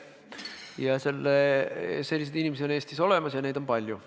Ja selliseid inimesi on Eestis palju.